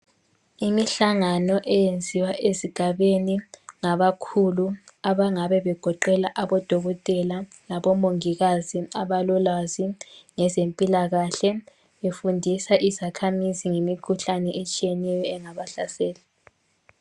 Imihlangano eyenziwa ezigabeni ngabakhulu abangabe begoqela abodokotela labomongikazi abalolwazi ngezempilakahle, befundisa izakhamizi ngemikhuhlane etshiyeneyo engabahlasela.